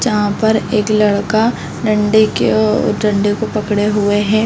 जहाँ पर एक लड़का डंडे के ओ डंडे को पकड़े हुए है।